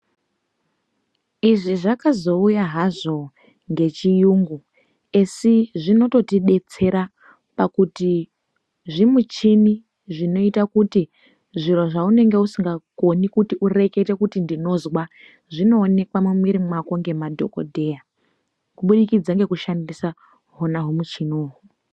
Izvi zvakazouya hazvo ngechiyungu asi zvinototidetsera ngekuti zvimuchini zvinoite kuti zviro zvaunenge usingakoni kuti ureketa kuti ndinozwa zvinookwa mumwiri mako ngemadhokodheya kuburikidza ngekushandisa hona humuchini uhwu.